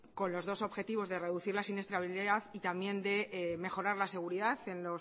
con los dos objetivos de reducir la siniestrabilidad y también de mejorar la seguridad